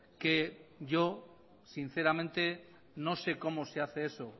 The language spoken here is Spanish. que yo sinceramente no sé cómo se hace eso